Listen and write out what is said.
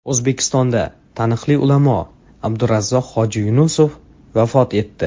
O‘zbekistonda taniqli ulamo Abdurazzoq hoji Yunusov vafot etdi.